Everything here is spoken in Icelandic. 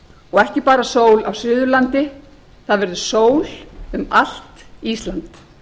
og ekki bara sól á suðurlandi það verður sól um allt ísland